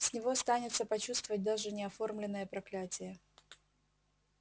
с него станется почувствовать даже неоформленное проклятие